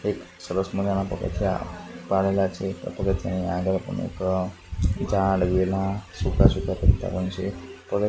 એક સરસ મજાના પગથિયા પાડેલા છે પગથિયાની આગળ પણ એક ઝાડ વેલા સૂકા સૂકા પત્તા પણ છે પગ--